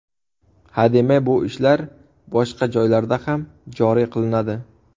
Hademay bu ishlar boshqa joylarda ham joriy qilinadi.